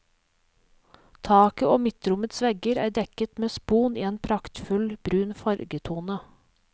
Taket og midtrommets vegger er dekket med spon i en praktfull brun fargetone.